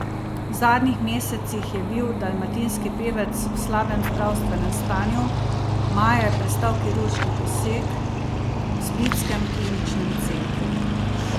V zadnjih mesecih je bil dalmatinski pevec v slabem zdravstvenem stanju, maja je prestal kirurški poseg v splitskem kliničnem centru.